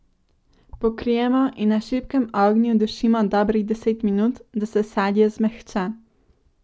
Pokrijemo in na šibkem ognju dušimo dobrih deset minut, da se sadje zmehča.